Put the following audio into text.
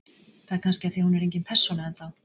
Það er kannski af því að hún er engin persóna enn þá.